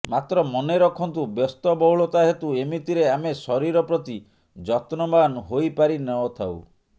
ମାତ୍ର ମନେ ରଖନ୍ତୁ ବ୍ୟସ୍ତବହୁଳତା ହେତୁ ଏମିତିରେ ଆମେ ଶରୀର ପ୍ରତି ଯତ୍ନବାନ ହୋଇପାରି ନଥାଉ